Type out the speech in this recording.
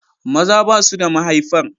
Maza ba su da mahaifar.